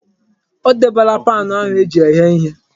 O debela paanụ ahụ eji eghe ihe.